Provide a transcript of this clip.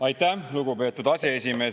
Aitäh, lugupeetud aseesimees!